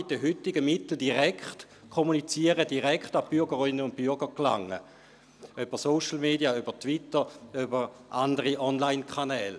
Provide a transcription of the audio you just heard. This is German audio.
Mit den heutigen Mitteln kann er direkt kommunizieren, direkt an die Bürgerinnen und Bürger gelangen – über Social Media wie Twitter und über andere Online-Kanäle.